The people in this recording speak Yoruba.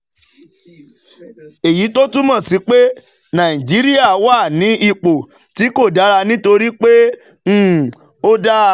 Èyí wá túmọ̀ sí pé Nàìjíríà wà ní ipò tí kò dára nítorí pé um ó dà